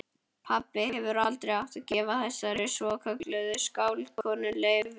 Pabbi hefði aldrei átt að gefa þessari svokölluðu skáldkonu leyfið.